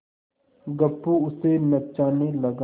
गप्पू उसे नचाने लगा